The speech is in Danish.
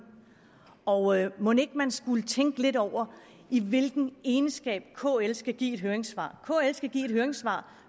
og mon ikke man skulle tænke lidt over i hvilken egenskab kl skal give et høringssvar kl skal give et høringssvar